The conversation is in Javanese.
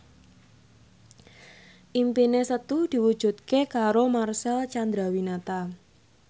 impine Setu diwujudke karo Marcel Chandrawinata